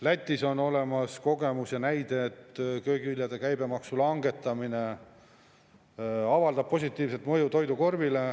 Lätis on olemas kogemus, et köögiviljade käibemaksu langetamine avaldab positiivset mõju toidukorvile.